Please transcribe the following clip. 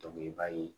i b'a ye